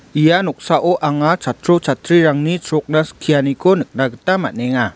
ia noksao anga chatro chatrirangni chrokna skianiko nikna gita man·enga.